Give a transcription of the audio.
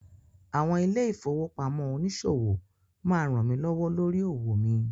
Àwọn ilé-ìfowópamọ́ oníṣòwò máa rànmí lọ́wọ́ lórí òwò mi.